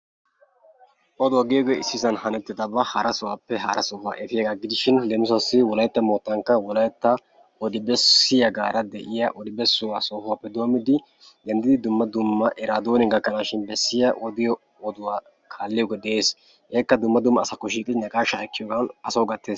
Oduwa giyogee issi sohuwan hanettidabaa issi sohuwappe hara sohuwa efiyagaa gidishin leemisuwaassi wolaytta moottankka wolaytta odi bessiyagaara de'ishin ya odi bessuwa sohuwappe denddidi eraadooniya gakkanaashi bessiyo oduwa kaalliyogee de'ees. Hegeekka dumma dumma asaakko shiiqidi naqaashaa ekkiyogan asawu gattees.